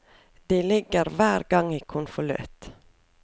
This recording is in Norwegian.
De ligger hver gang i konvolutt.